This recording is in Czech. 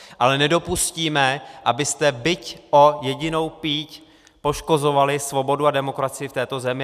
Ale nedopustíme, abyste byť o jedinou píď poškozovali svobodu a demokracii v této zemi.